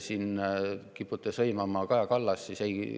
Te kipute siin sõimama Kaja Kallast.